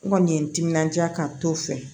N kɔni ye n timinandiya ka n t'o fɛ